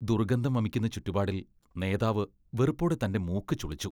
ദുർഗന്ധം വമിക്കുന്ന ചുറ്റുപാടിൽ നേതാവ് വെറുപ്പോടെ തന്റെ മൂക്ക് ചുളിച്ചു.